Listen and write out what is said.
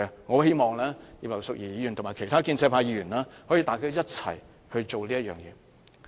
我希望葉劉淑儀議員和其他建制派議員可以一同做此事。